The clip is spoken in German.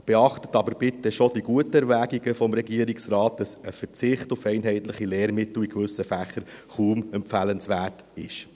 Beachten Sie aber bitte die guten Erwägungen des Regierungsrates, dass ein Verzicht auf einheitliche Lehrmittel in gewissen Fächern kaum empfehlenswert ist.